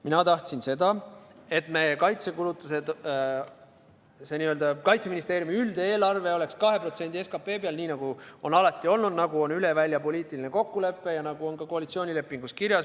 Mina tahtsin seda, et meie kaitsekulutused, see n-ö Kaitseministeeriumi üldeelarve oleks 2% SKP-st, nii nagu see on alati olnud, nagu on üldine poliitiline kokkulepe ja nagu on ka koalitsioonilepingus kirjas.